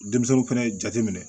Denmisɛnw fɛnɛ jate minɛ